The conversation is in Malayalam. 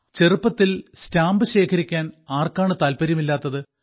ചെറുപ്പത്തിൽ സ്റ്റാമ്പ് ശേഖരിക്കാൻ ആർക്കാണ് താല്പര്യമില്ലാത്തത്